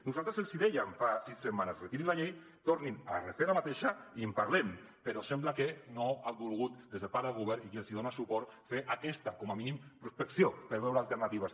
nosal tres els dèiem fa sis setmanes retirin la llei tornin la a refer i en parlem però sembla que no han volgut des de part del govern i qui els dona suport a fer aquesta com a mínim prospecció per veure alternatives